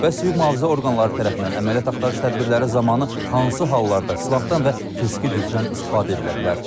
Bəs hüquq-mühafizə orqanları tərəfindən əməliyyat axtarış tədbirləri zamanı hansı hallarda silahdan və fiziki gücdən istifadə edilə bilər?